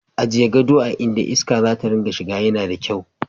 Ajiye gado a inda iska za ta dinga shiga yana da kyau.